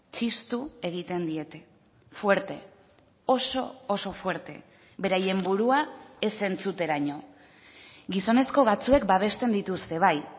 txistu egiten diete fuerte oso oso fuerte beraien burua ez entzuteraino gizonezko batzuek babesten dituzte bai